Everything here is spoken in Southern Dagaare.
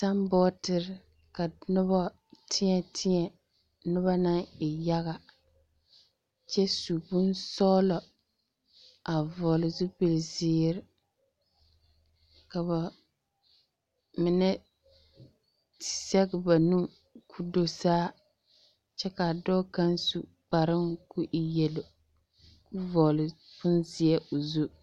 Sambootere ka noba teԑteԑ, noba naŋ e yaga kyԑ su bonsͻgelͻ a vͻgele zupili zeere. Ka ba mine zԑge ba nu koo do saa kyԑ ka dͻͻ kaŋa su kparoŋ koo e yelo. Koo vͻgele bonzeԑ o zu.